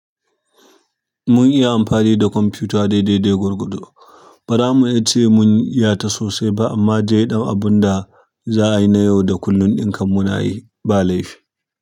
Mun iya amfani da kwamfuta daidai dai gwargwado. Ba za mu iya ce mun iyata sosai ba amma dai ɗan abun da za a yi na yau da kullum ɗin kam munayi ba laifi.